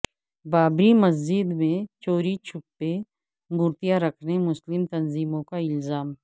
بابری مسجد میں چوری چھپے مورتیاں رکھنے مسلم تنظیموں کا الزام